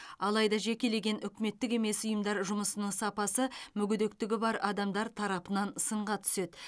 алайда жекелеген үкіметтік емес ұйымдар жұмысының сапасы мүгедектігі бар адамдар тарапынан сынға түседі